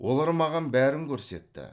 олар маған бәрін көрсетті